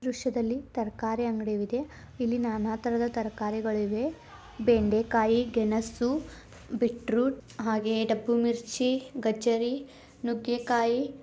ದೃಶ್ಯದಲ್ಲಿ ತರಕಾರಿ ಅಂಗಡಿ ಇದೆ ಇಲ್ಲಿ ನಾನ ತರದ ತರಕಾರಿಗಳಿವೆ ಬೆಂಡೆಕಾಯಿ ಗೆಣಸು ಬಿಟ್ರುಟ್ ಹಾಗೆ ದಬ್ಬು ಮಿರ್ಚಿ ಗಜ್ಜರಿ ನುಗ್ಗೆಕಾಯಿ--